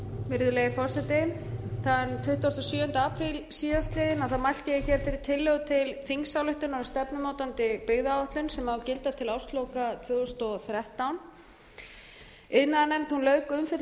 virðulegi forseti þann tuttugasta og sjöunda apríl síðastliðinn mælti ég fyrir tillögu til þingsályktunar um stefnumótandi byggðaáætlun sem á að gilda til ársloka tvö þúsund og þrettán iðnaðarnefnd lauk umfjöllun